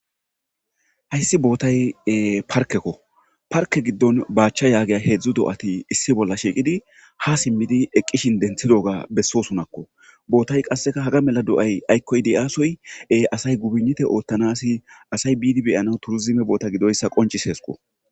Hayssi bootay parkekko parke giddon baachcha yaagiya heedzdzu do'ati issi bolla shiiqidi ha simmidi eqqishin denthidoga bessosunakko bootay qasseka haga mela do'ay aykkoy de'aasoye asay gubinnite oottanasi asay biidi beyana turzime boota gidoyssa qoncis heesqo.